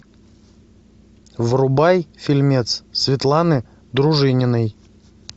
врубай фильмец светланы дружининой